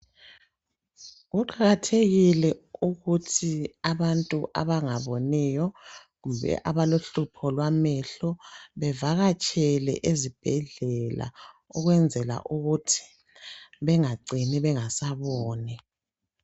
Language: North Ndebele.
Kuqakathekile ukuthi abantu abangaboniyo, abalohlupho kwamehlo bevalatshele esibhedlela ukwenzela ukuthi bengacini bengasaboni.